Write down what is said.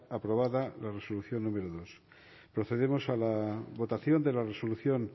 aprobada la resolución número dos procedemos a la votación de la resolución